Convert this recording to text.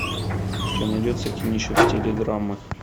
у тебя найдется кинище в стиле драмы